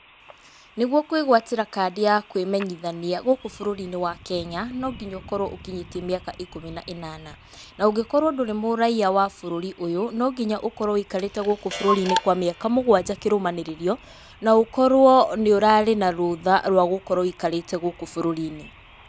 Nĩguo kwĩgwatĩra kandi ya kwĩmenyithania gũkũ bũrũri-inĩ wa Kenya, no nginya ũkorwo ũkinyĩtie mĩaka ikũmi na ĩnana. Na ũngĩkorwo ndũrĩ mũraiya wa bũrũri ũyũ, no nginya ũkorwo wĩikarĩte gũkũ bũrũri-inĩ kwa mĩaka mũgwanja kĩrũmanĩrĩrio. Na ũkorwo nĩ ũrarĩ na rũtha rwa gũkorwo wĩikarĩte gũkũ bũrũri-inĩ.